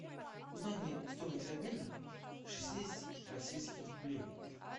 узнай мне стоимость обмена шестидесяти российских рублей